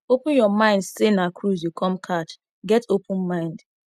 open your mind sey na cruise you come catch get open mind